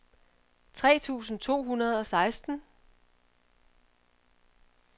tre tusind to hundrede og seksten